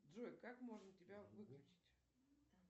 джой как можно тебя выключить